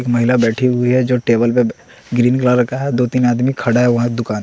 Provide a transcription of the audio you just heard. एक महिला बैठी हुई है जो टेबल पे ग्रीन कलर का है दो तीन आदमी खड़ा है दुकान--